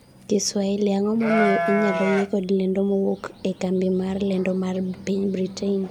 kiswahili, ang'o momiyo inyalo yie kod lendo mowuok a kambi mar lendo mar piny Britain